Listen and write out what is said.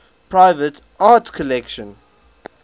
private art collections